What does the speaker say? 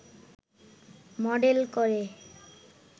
model করে